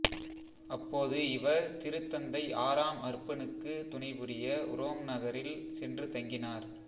அப்போது இவர் திருத்தந்தை ஆறாம் அர்பனுக்கு துணை புரிய உரோம் நகரில் சென்று தங்கினார்